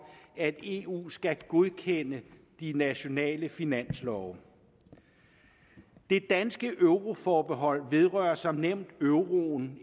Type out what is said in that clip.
at eu skal godkende de nationale finanslove det danske euroforbehold vedrører som nævnt euroen